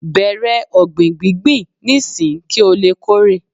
bẹrẹ ọgbin gbingbin n'isin ki o le Kore